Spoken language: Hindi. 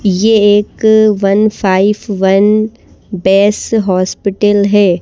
ये एक one five one base hospital है।